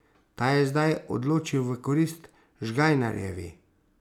Ta je zdaj odločil v korist Žgajnarjevi.